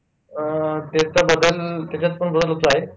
अं त्याच्याबद्दल त्याच्यात पण बरेच ऋतू आहेत.